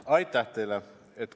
Aitäh teile!